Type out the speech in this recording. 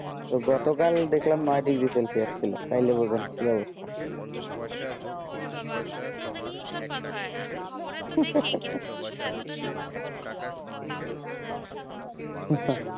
গত কাল দেখলাম নয় bdegree celcius ছিল তাইলে ভুজেন কি অবস্থা ওরে বাবা আপনার দিক তো দেখি তুসার পাট হয়ে খবরে তো দেখি কিন্তু আসলে যেত টা যেই ভয়ঙ্কর অবস্থা তাও তো বোঝা যায় না